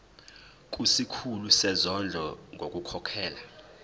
kusikhulu sezondlo ngokukhokhela